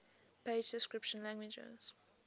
page description languages